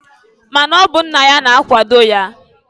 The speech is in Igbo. Ma na ọ bụ nna ya na-akwado ya.